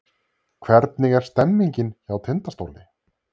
Hvernig er stemningin hjá Tindastóli?